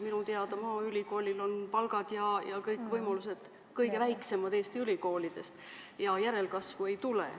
Minu teada on maaülikoolil palgad ja kõik võimalused Eesti ülikoolide hulgas kõige väiksemad ja järelkasvu ei tule.